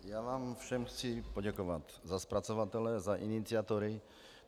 Já vám všem chci poděkovat za zpracovatele, za iniciátory.